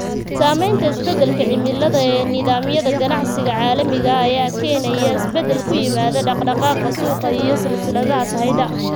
Saamaynta isbeddelka cimilada ee nidaamyada ganacsiga caalamiga ah ayaa keenaya isbeddel ku yimaada dhaqdhaqaaqa suuqa iyo silsiladaha sahayda.